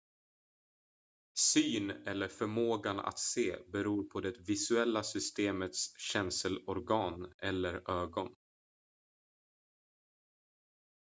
syn eller förmågan att se beror på det visuella systemets känselorgan eller ögon